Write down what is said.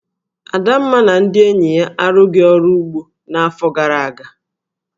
Adamma na ndị enyi ya arụghị ọrụ ugbo n'afọ gara aga.